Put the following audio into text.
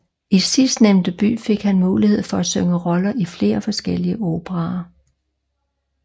I sidstnævnte by fik han mulighed for at synge roller i flere forskellige operaer